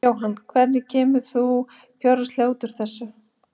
Jóhann: Hvernig kemur þú fjárhagslega út úr þessu?